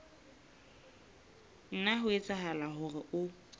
nna ha etsahala hore o